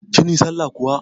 Kin yi sallah kuwa?